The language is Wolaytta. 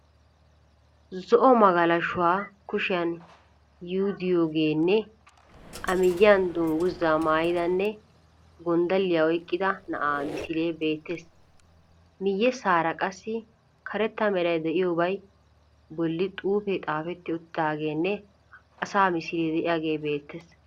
zo'o magalashuwa kushiyan yuudiyogeenne a miyyiyan dungguza maayidanne gonddalliya oyiqqida na'aa misilee beettees. Miyyessaara qassi karetta meray de'iyobaa bolli xuufe xaafetti uttidaageenne asaa misile de'ayige beettees.